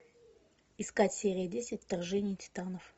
искать серия десять вторжение титанов